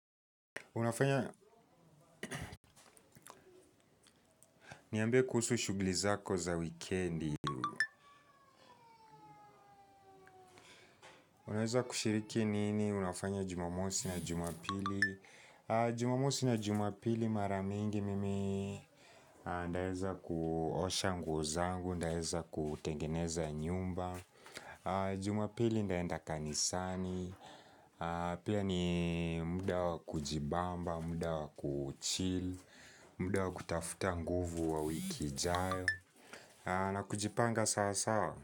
Unafanya niambie kuhusu shugli zako za weekendi. Unaweza kushiriki nini? Unafanya jumamosi na jumapili. Jumamosi na jumapili maramingi mimi. Naeza kuosha nguo zangu. Naeza kutengeneza nyumba. Jumapili naenda kanisani. Pia ni muda wa kujibamba, muda wa kuchill. Muda wa kutafuta nguvu wa wiki ijayo. Na kujipanga sawa sawa.